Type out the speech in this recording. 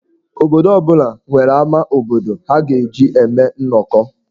Obodo ọ bụla amá obodo ha ga-eji eme nnọkọ.